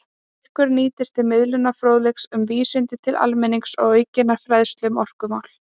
Styrkurinn nýtist til miðlunar fróðleiks um vísindi til almennings og aukinnar fræðslu um orkumál.